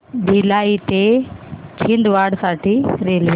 भिलाई ते छिंदवाडा साठी रेल्वे